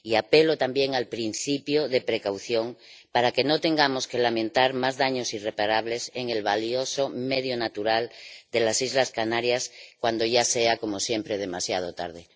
Y apelo también al principio de precaución para que no tengamos que lamentar más daños irreparables en el valioso medio natural de las islas Canarias cuando ya sea, como siempre, demasiado tarde.